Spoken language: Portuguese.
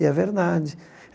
E é verdade.